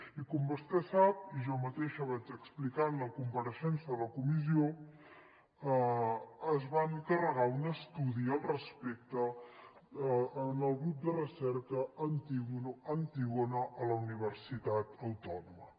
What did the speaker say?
i com vostè sap i jo mateixa vaig explicar en la compareixença a la comissió es va encarregar un estudi al respecte al grup de recerca antígona a la universitat autònoma